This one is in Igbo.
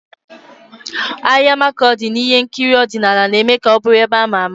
Ahịa Makurdi na ihe nkiri ọdịnala na-eme ka ọ bụrụ ebe ama ama.